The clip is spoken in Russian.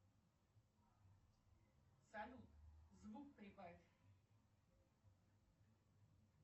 салют звук прибавь